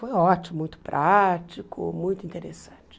Foi ótimo, muito prático, muito interessante.